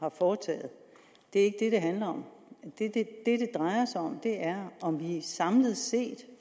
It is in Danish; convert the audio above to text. har foretaget det er ikke handler om det det drejer sig om er om vi samlet set